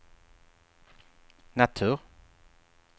natur